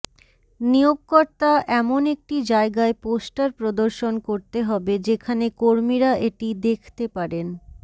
নিয়োগকর্তা এমন একটি জায়গায় পোষ্টার প্রদর্শন করতে হবে যেখানে কর্মীরা এটি দেখতে পারেন